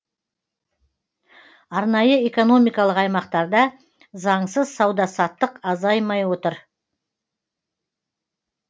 арнайы экономикалық аймақтарда заңсыз сауда саттық азаймай отыр